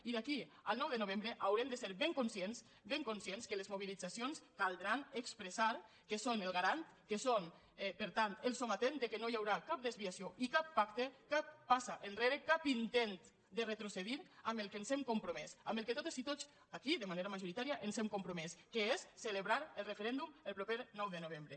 i d’aquí al nou de novembre haurem de ser ben conscients ben conscients que les mobilitzacions caldrà expressar que són el garant que són per tant el sometent que no hi haurà cap desviació i cap pacte cap passa enrere cap intent de retrocedir en el que ens hem compromès en el que totes i tots aquí de manera majoritària ens hem compromès que és a celebrar el referèndum el proper nou de novembre